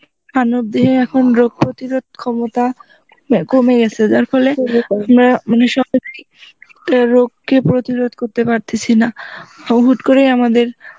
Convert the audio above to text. মানব দেহে এখন রোগ প্রতিরোগ ক্ষমতা কমে গেছে যার ফলে আমরা মানে সহজেই, একটা রোগ কে প্রতিরোগ করতে পারতাসি না, ও হুট করে আমাদের